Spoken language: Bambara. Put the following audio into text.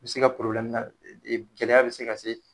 I bɛ se i ka gɛlɛya bɛ se ka se.